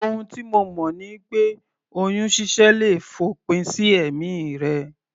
Ohun tí mo mọ̀ ni pé oyún ṣíṣẹ́ le fòpin sí ẹ̀mí rẹ